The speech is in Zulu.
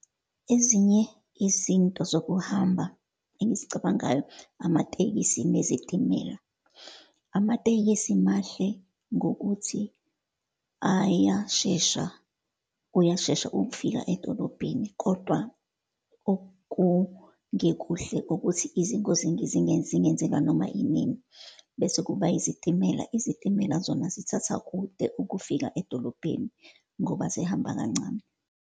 Ezinye izinto zokuhamba engizicabangayo, amatekisi nezitimela. Amatekisi mahle ngokuthi ayashesha, uyashesha ukufika edolobheni, kodwa okungekuhle ukuthi, izingozi zingenzeka noma inini. Bese kuba izitimela. Izitimela zona zithatha kude ukufika edolobheni, ngoba zihamba kancane.